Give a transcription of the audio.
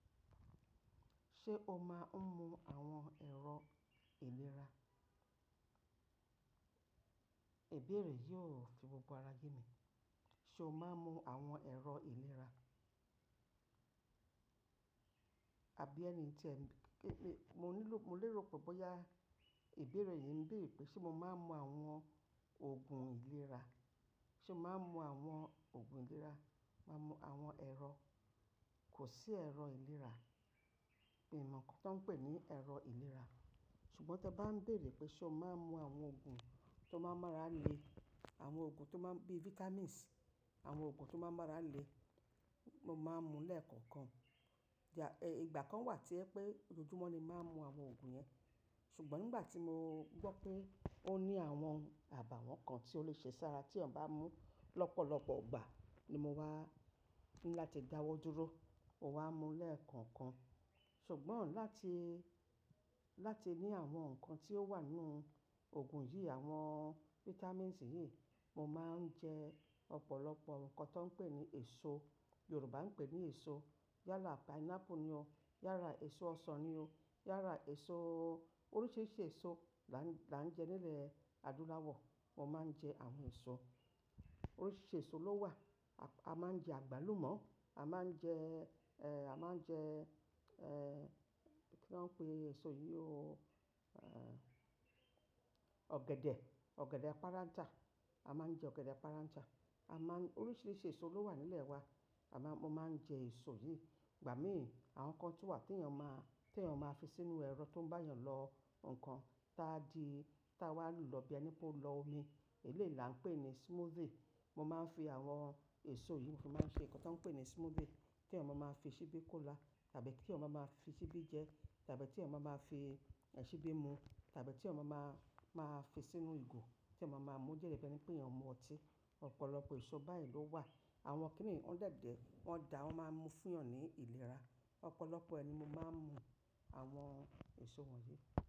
Ṣé o máa ń mu àwọn ẹ̀rọ ìlera? Ìbéèrè yóò fi gbogbo ara ye mí. Ṣé o máa ń mu àwọn ẹ̀rọ ìlera? Abí ẹni tí ẹ mí, kí-- mo nílò, mo lérò pé bóyá ìbéèrè yìí ń bèrè pé ṣé mo máa ń mu àwọn òògùn ìlera. Ṣé mo máa ń mu àwọn òògùn ìlera, máa ń mu àwọn ẹ̀rọ, kò sí ẹ̀rọ ìlera, mi mà kan ti won pè ní ẹ̀rọ ìlera. Ṣùgbọ́n tí ẹ bá ń bèrè pé ṣé o máa ń mu àwọn òògùn tó máa ń mọ́ra le, àwọn òògùn tó máa ń bí vitamins, àwọn òògùn tó máa ń mọ́ra le, mo máa ń mu lẹ́ẹ̀kọ̀ọ̀kan. Ìjà, ẹ́, ìgbà kan wà tí ẹ pé lójoójúmọ́ ni máa ń mu àwọn òògùn yẹn. Ṣùgbọ́n nígbà tí mo gbọ́ pé ó ní àwọn àbàwọ́ kan tí ó lè ṣe sára tí èèyàn bá mú lọ́pọ̀lọpọ̀ ìgbà ni mo wá ńlá ti dáwọ́ dúró. Mo wá mú lẹ́ẹ̀kọ̀ọ̀kan. Ṣùgbọ́n láti, láti ní àwọn nǹkan tí ó wà nínú òògùn yìí, àwọn vitamins yìí, mo máa ń jẹ ọ̀pọ̀lọpọ̀ nǹkan tó ń pè ní èso. Yorùbá ń pè ní èso. Yálà pineapple ni o. Yára èso ọsàn ni o. Yála èso oríṣìíríṣìí èso là ń, là ń jẹ nílẹ̀ adúláwọ̀. Mo máa ń jẹ àwọn èso. Oríṣìíríṣìí èso ló wà. A máa ń jẹ àgbálùmọ́. A máa ń jẹ́, ẹ́, a máa ń jẹ́, ẹ́, kí ni wọ́n ń pè èso yìí o? Èéh. Ogede, ogede paranta. A máa ń jẹ ogede aparaja. A máa ń-- oríṣìíríṣìí èso ló wà nílẹ̀ wa. A máa, mo máa ń jẹ èso yìí. Ìgbà míì àwọn nǹkan tí wà tí èèyàn máa, tí èèyàn máa fi sínú ẹ̀rọ tó ń bá èèyàn lọ nǹkan ta di, ta wá lò lọ bí àìní pé ó lọ omi. Eléèla ń pè ní smoothie. Mo máa ń fi àwọn èso yìí fi máa ń ṣe nǹkan tó ń pè ní smoothie tí ọmọ máa fi ṣíbí kó là, tàbí kí ọmọ máa fi ṣíbí jẹ, tàbí tí ọmọ máa fi ẹṣibí mú, tàbí tí èèyàn máa, máa fi sínú ìgò tí èyán máa mú dede bi pé èniyàn mu ọtí. Ọ̀pọ̀lọpọ̀ èso báyìí ló wà. Àwọn kí nìí, wọ́n dàìdẹ́, wọ́n dà, wọ́n máa ń mú fún èèyàn ní ìlera. Ọ̀pọ̀lọpọ̀ ẹni mo máa ń mu àwọn èso wọ̀nyí.